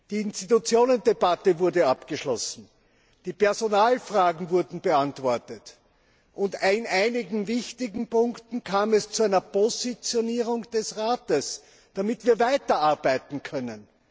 Die Institutionendebatte wurde abgeschlossen, die Personalfragen wurden beantwortet, und in einigen wichtigen Punkten kam es zu einer Positionierung des Rates, damit wir weiterarbeiten können.